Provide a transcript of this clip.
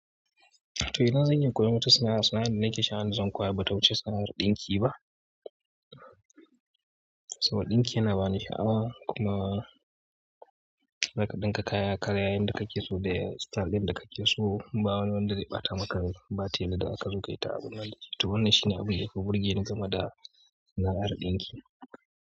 To ina zan iya koyon wata sana'a, sana'ar nake sha'awa zan koya ba wata sana'ar ɗinki ba. Saboda ɗinki yana bani sha'awa kuma rakaɗinka kaya kayayyen da kake so da style ɗin da kake so, ba wani wanda zai ɓata maka batel da aka zo kai ta abun nan jiya. To wannan shine abin da yafi burge ni game da sana'ar ɗinki.